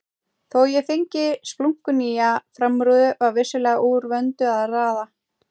Þó ég fengi splunkunýja framrúðu var vissulega úr vöndu að ráða.